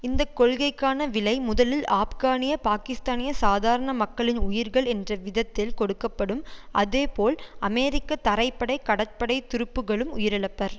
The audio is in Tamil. இந்த கொள்கைக்கான விலை முதலில் ஆப்கானிய பாக்கிஸ்தானிய சாதாரண மக்களின் உயிர்கள் என்ற விதத்தில் கொடுக்க படும் அதே போல் அமெரிக்க தரைப்படை கடற்படை துருப்புகளும் உயிரிழப்பர்